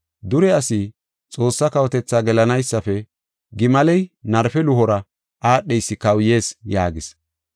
Dure asi Xoossaa kawotethaa gelanaysafe, gimaley narpe luhora aadheysi kawuyees” yaagis.